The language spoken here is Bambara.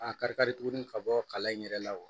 A kari kari tuguni ka bɔ kala in yɛrɛ la wa